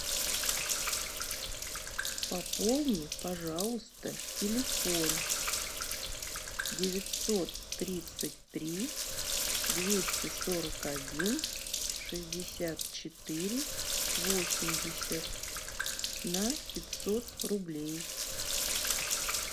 пополни пожалуйста телефон девятьсот тридцать три двести сорок один шестьдесят четыре восемьдесят на пятьсот рублей